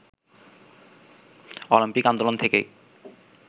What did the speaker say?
Olympic আন্দোলন থেকেই